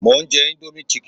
Mò ń jẹ indomie chicken